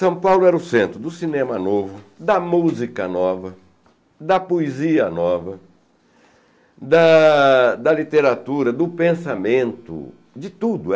São Paulo era o centro do cinema novo, da música nova, da poesia nova, da da literatura, do pensamento, de tudo.